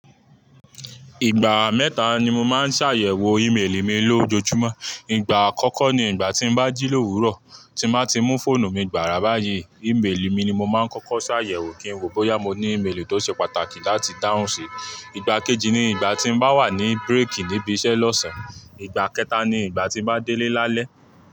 Ìgbà mẹ́ta ni mo máa ń ṣàyẹ̀wò Email mi lójoójúmọ́. Ìgbà àkọ́kọ́ ni ìgbà tí n bá jí l'òwúrọ̀, tí n bá ti mú fóònù mi gbàrà báyìí, email mi ni mo máa ń kọ́kọ́ ṣàyẹ̀wò kí n wò bóyá mo ní email tó ṣe pàtàkì láti dáhùn sí. Ìgbà kejì ni ìgbà tí mo bá wà ní break níbi iṣẹ́ lọ́sàn-án. Ìgbà kẹta ni ìgbà tí n bá délé lálẹ́.